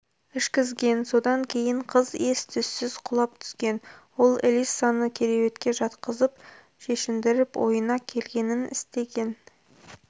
ішкізген содан кейін қыз ес-түссіз құлап түскен ол элиссаны кереуетке жатқызып шешіндіріп ойына келгенін істеген